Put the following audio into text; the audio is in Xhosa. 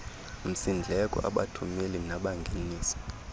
msindleko abathumeli nabangenisi